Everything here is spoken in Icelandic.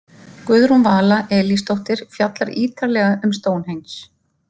Guðrún Vala Elísdóttir fjallar ítarlega um Stonehenge.